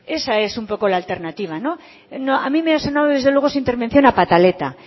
esa es un poco la alternativa no a mí me ha sonado desde luego su intervención a pataleta